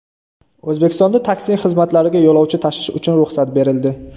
O‘zbekistonda taksi xizmatlariga yo‘lovchi tashish uchun ruxsat berildi.